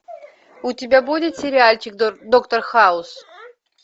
у тебя будет сериальчик доктор хаус